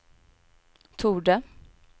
torde